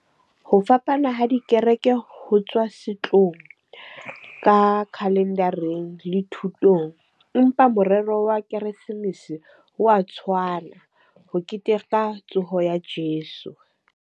Ho fapana ha dikereke ho tswa setlong ka calendar-reng le thutong. Empa morero wa keresemese wa tshwana, ho keteka tsoho ya Jeso.